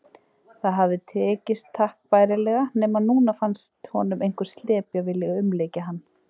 Það hafði tekist takk bærilega, nema núna fannst honum einhver slepja vilja umlykja hann.